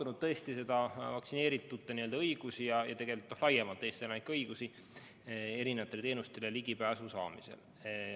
Me oleme arutanud vaktsineeritute õigusi ja tegelikult laiemalt Eesti elanike õigusi erinevatele teenustele ligipääsu saamisel.